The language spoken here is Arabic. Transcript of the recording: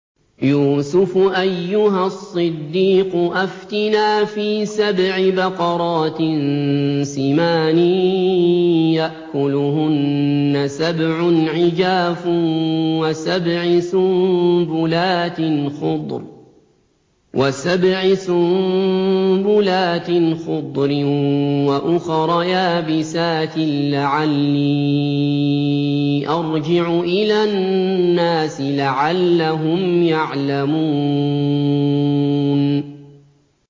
يُوسُفُ أَيُّهَا الصِّدِّيقُ أَفْتِنَا فِي سَبْعِ بَقَرَاتٍ سِمَانٍ يَأْكُلُهُنَّ سَبْعٌ عِجَافٌ وَسَبْعِ سُنبُلَاتٍ خُضْرٍ وَأُخَرَ يَابِسَاتٍ لَّعَلِّي أَرْجِعُ إِلَى النَّاسِ لَعَلَّهُمْ يَعْلَمُونَ